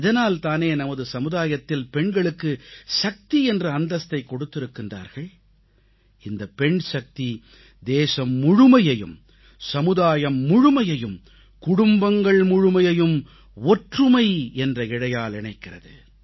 இதனால் தானே நமது சமுதாயத்தில் பெண்களுக்கு சக்தி என்ற அந்தஸ்தைக் கொடுத்திருக்கிறார்கள் இந்தப் பெண்சக்தி தேசம் முழுமையையும் சமுதாயம் முழுமையையும் குடும்பங்கள் முழுமையையும் ஒற்றுமை என்ற இழையால் இணைக்கிறது